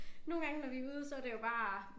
Nogle gange når vi ude så det jo bare